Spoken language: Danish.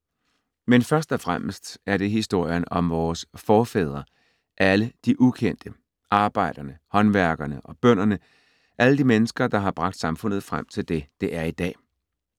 Men først og fremmest er det historien om vores forfædre, alle de ukendte: arbejderne, håndværkerne og bønderne, alle de mennesker, der har bragt samfundet frem til det, det er i dag.